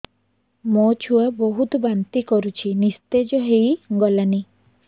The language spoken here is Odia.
ମୋ ଛୁଆ ବହୁତ୍ ବାନ୍ତି କରୁଛି ନିସ୍ତେଜ ହେଇ ଗଲାନି